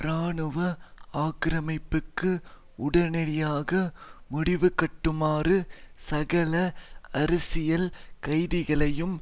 இராணுவ ஆக்கிரமிப்புக்கு உடனடியாக முடிவுகட்டுமாறும் சகல அரசியல் கைதிகளையும்